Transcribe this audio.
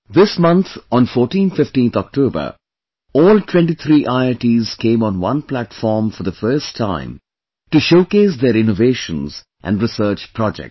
This month on 1415 October, all 23 IITs came on one platform for the first time to showcase their innovations and research projects